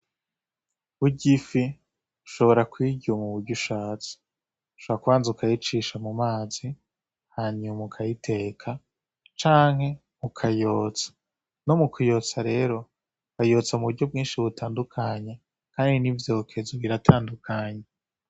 Burya ifi ushobora kuyirya muburyo ushatse. Ushobora kubanza ukayicisha mu mazi hanyuma ukayiteka, canke ukayotsa. No mu kuyotsa rero, bayotsa mu buryo bwinshi butandukanye, kandi n'ivyokezo biratandukanye.